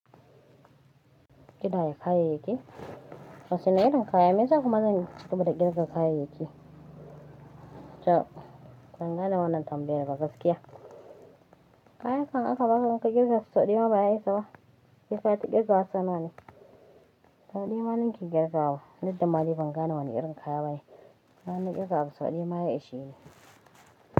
Ki daya kayayyaki? Wasu na irin kaya meyasa kuma zan ci gaba da ƙirga kayayyaki. Cab, ban gane wannan tambayar da gaskiya. Kaya kam aka baka baka kirga su sau ɗaya ba ya isa ba. Kifata kirgawa tsanani. Sau ɗaya maninki kirgawa, duk da ma ni ban gane wannan irin kaya bane. Inma na kirga abu sau ɗaya ma ya ishe ni.